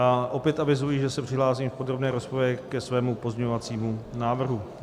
A opět avizuji, že se přihlásím v podrobné rozpravě ke svému pozměňovacímu návrhu.